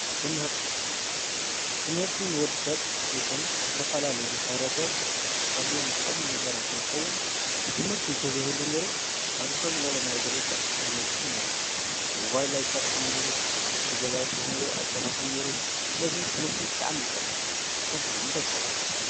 ትምህርቲ፦ ትምህርቲ ንወዲ ሰብ ይኩን ንዝተፈላለዩ ማሕበረሰብ ካብዞም ዝጠቅሙ ነገራት እንትኸውን ትምህርቲ ተዘይህሉ ነይሩ ኣብዚ ኸዚ ዘለናዮ ደረጃ ኣይንበፀሐናን ነይርና ፣ሞባይል ኣይስራሕን ነይሩ ፣እቲ ገዛዉቲ እንርእዮ ኣይስራሕን ነይሩ፣ ስለዚ ትምህርቲ ብጣዕሚ እዩ ዝጠቅም ንስካትኹም ኸ?